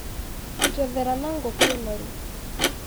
Njethera na ngũkũ noru.